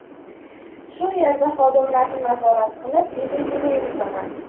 Shu yerda xodimlarni nazorat qilib, biznesini yuritaman.